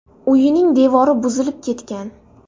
Uyining devori buzilib ketgan.